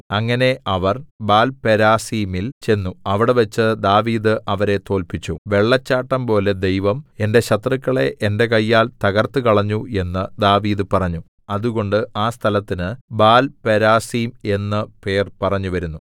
അങ്ങനെ അവർ ബാൽപെരാസീമിൽ ചെന്നു അവിടെവച്ച് ദാവീദ് അവരെ തോല്പിച്ചു വെള്ളച്ചാട്ടംപോലെ ദൈവം എന്റെ ശത്രുക്കളെ എന്റെ കയ്യാൽ തകർത്തുകളഞ്ഞു എന്നു ദാവീദ് പറഞ്ഞു അതുകൊണ്ട് ആ സ്ഥലത്തിന് ബാൽപെരാസീം എന്നു പേർ പറഞ്ഞുവരുന്നു